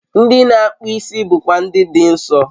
Ndị na-akpụ isi bụkwa Ndị Dị Nsọ